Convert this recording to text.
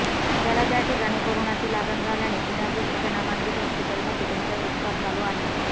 त्याला त्या ठिकाणी कोरोनाची लागण झाल्याने पुण्यातील एका नामांकित हॉस्पिटलमध्ये त्याच्यावर उपचार चालू आहे